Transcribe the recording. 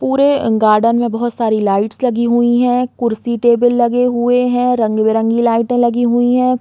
पुरे गार्डन में बहोत सारी लाइट लगी हुई है कुर्सी-टेबल लगे हुए है रंग-बिरंगे लाइटे लगी हुई है।